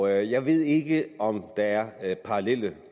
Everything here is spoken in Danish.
jeg ved ikke om der er parallelle